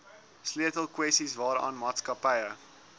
sleutelkwessies waaraan maatskappye